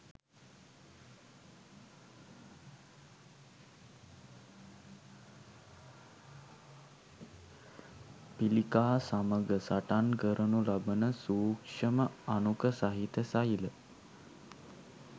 පිළිකා සමග සටන් කරනු ලබන සූක්ෂම අණුක සහිත සෛල